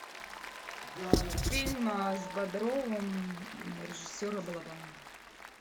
фильм с бодровым режиссера балабанова